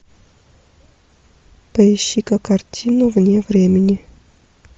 поищи ка картину вне времени